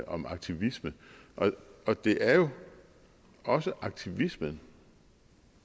om aktivisme og det er jo også aktivismen